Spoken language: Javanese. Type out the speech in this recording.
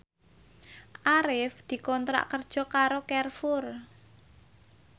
Arif dikontrak kerja karo Carrefour